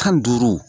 Tan ni duuru